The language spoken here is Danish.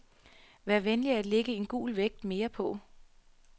Vær venlig at lægge en gul vægt mere på.